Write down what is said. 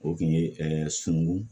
O kun ye sunungun